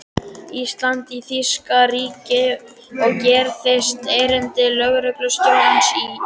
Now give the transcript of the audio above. Íslands í þýska ríkið og gerðist erindreki lögreglustjórans á Íslandi.